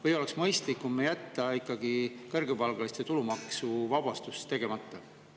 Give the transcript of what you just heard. Või oleks mõistlikum jätta ikkagi kõrgepalgaliste tulumaksuvabastus tegemata?